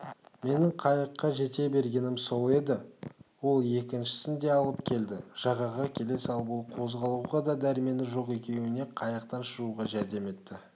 менің қайыққа жете бергенім сол еді ол екіншісін де алып келді жағаға келе салып ол қозғалуға да дәрмені жоқ екеуіне қайықтан шығуға жәрдем етті